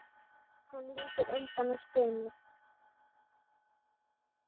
Hann lítur undan og stynur.